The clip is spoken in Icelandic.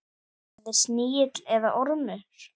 Verði snigill eða ormur.